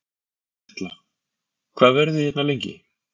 Erla: Hvað verðið þið hérna lengi?